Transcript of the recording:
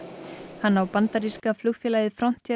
hann á bandaríska flugfélagið